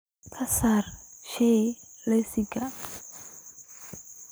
ka saar shay liiska